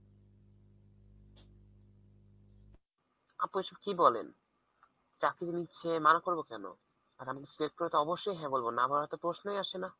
আপু এসব কি বলেন চাকরি দিচ্ছে মানা করবো কেন? আর আমি তো select করে তো অবশ্যই হ্যাঁ বলবো না বলার তো প্রশ্নই আসে না।